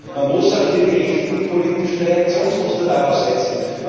Man muss hier auch die richtigen politischen Reaktionsmuster darauf setzen.